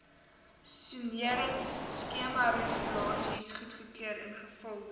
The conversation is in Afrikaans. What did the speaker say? soneringskemaregulasies goedgekeur ingevolge